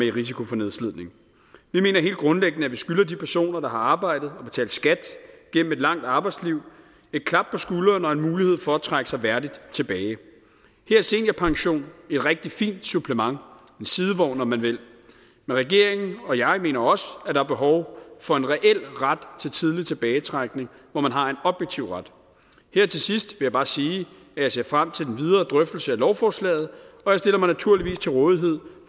i risiko for nedslidning vi mener helt grundlæggende at vi skylder de personer der har arbejdet og betalt skat gennem et langt arbejdsliv et klap på skulderen og en mulighed for at trække sig værdigt tilbage her er seniorpension et rigtig fint supplement en sidevogn om man vil men regeringen og jeg mener også at der er behov for en reel ret til tidlig tilbagetrækning hvor man har en objektiv ret her til sidst vil jeg bare sige at jeg ser frem til den videre drøftelse af lovforslaget og jeg stiller mig naturligvis til rådighed